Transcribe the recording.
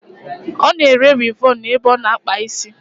Ona ere Wivọnụ n'ebe o na-akpa isi